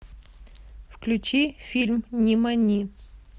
включи фильм нимани